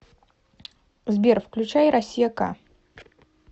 сбер включай россия к